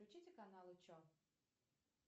включите канал че